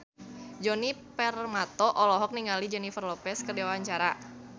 Djoni Permato olohok ningali Jennifer Lopez keur diwawancara